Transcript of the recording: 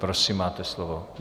Prosím, máte slovo.